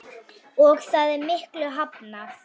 Og það er miklu hafnað.